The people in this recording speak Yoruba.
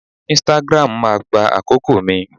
Instagram máa gba àkókò mi.